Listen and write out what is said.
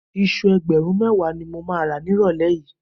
Iṣu ẹgbẹ̀rún mẹ́wàá ni mo máa rà nírọ̀lẹ́ yìí